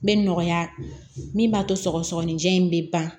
Bɛ nɔgɔya min b'a to sɔgɔsɔgɔnijɛ in bɛ ban